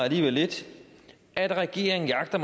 alligevel lidt at regeringen jagter